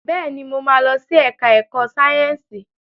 Bẹ́ẹ̀ni, mo ma lọ sí ẹ̀ká ẹ̀kọ́ Sáyẹ̀nsì